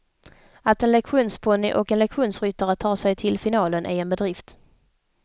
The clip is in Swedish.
Att en lektionsponny och en lektionsryttare tar sig till finalen är en bedrift.